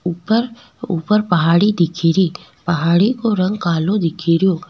ऊपर ऊपर पहाड़ी दिखेरी पहाड़ी को रंग कालो दिखेरो।